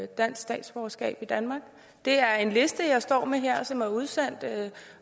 dansk statsborgerskab i danmark det er en liste jeg står med her som er udsendt